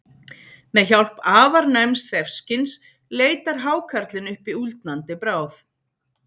Með hjálp afar næms þefskyns leitar hákarlinn uppi úldnandi bráð.